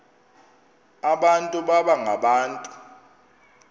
abantu baba ngabantu